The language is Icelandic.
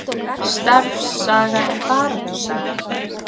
Starfssagan er baráttusaga